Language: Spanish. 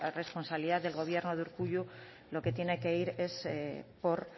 responsabilidad del gobierno de urkullu lo que tiene que ir es por